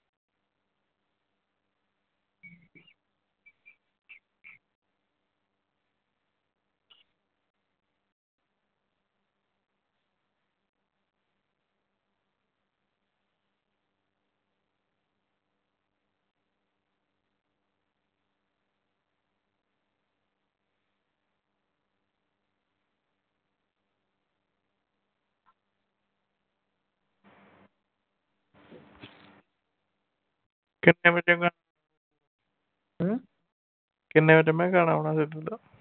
ਕਿੰਨੇ ਵਜੇ ਗਾ ਕਿੰਨੇ ਵਜੇ ਮੈਂ ਕਿਹਾ ਗਾਣਾ ਆਉਣਾ ਸਿੱਧੂ ਦਾ